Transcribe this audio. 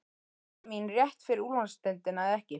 Eru gæði mín rétt fyrir úrvalsdeildina eða ekki?